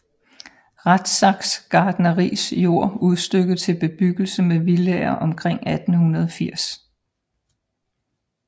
Rathsacks gartneris jord udstykket til bebyggelse med villaer omkring 1880